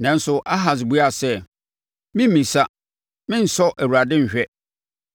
Nanso, Ahas buaa sɛ, “Meremmisa. Merensɔ Awurade nhwɛ.”